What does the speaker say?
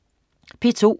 P2: